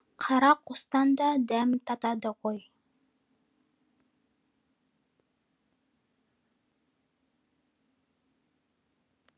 қара қостан да дәм татады ғой